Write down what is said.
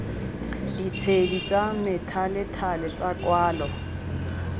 ditshedi tsa methalethale tsa kwalo